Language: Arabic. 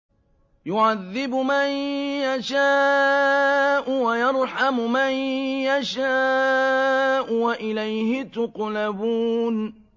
يُعَذِّبُ مَن يَشَاءُ وَيَرْحَمُ مَن يَشَاءُ ۖ وَإِلَيْهِ تُقْلَبُونَ